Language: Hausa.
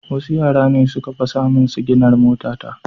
Wasu yara ne suka fasa main siginar motata